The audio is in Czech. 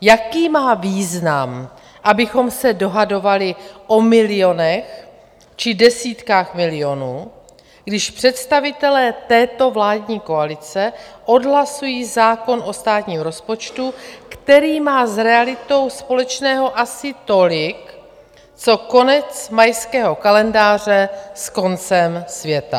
Jaký má význam, abychom se dohadovali o milionech či desítkách milionů, když představitelé této vládní koalice odhlasují zákon o státním rozpočtu, který má s realitou společného asi tolik, co konec mayského kalendáře s koncem světa?